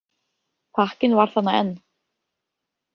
Pakkinn var þarna enn.